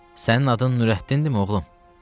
Sənin adın Nurəddindirmi, oğlum?